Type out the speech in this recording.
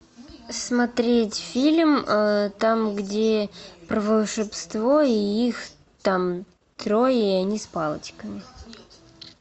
смотреть фильм там где про волшебство и их там трое и они с палочками